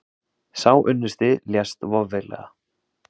Sá unnusti lést voveiflega.